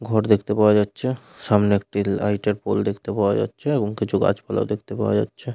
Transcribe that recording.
ঘর দেখতে পাওয়া যাচ্ছে সামনে একটি লাইট -এর পোল দেখতে পাওয়া যাচ্ছে এবং কিছু গাছপালা ও দেখতে পাওয়া যাচ্ছে।